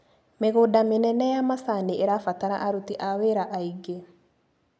Mĩgũnda mĩnene ya macani ĩrabatara aruti a wĩra aingĩ.